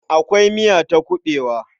Akwai miya ta kuɓewa.